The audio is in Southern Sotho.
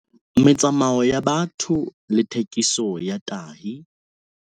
Metsamao ya batho le thekiso ya tahi